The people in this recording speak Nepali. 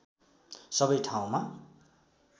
सबै ठाउँमा